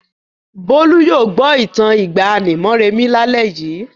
Bólú yóò gbọ́ ìtàn ìgbàanì Moremi lálẹ́ yìí.